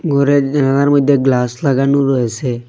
ঘরের জানালার মইধ্যে গ্লাস লাগানো রয়েসে।